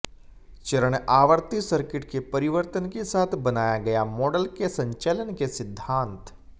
चरण आवृत्ति सर्किट के परिवर्तन के साथ बनाया गया मॉडल के संचालन के सिद्धांत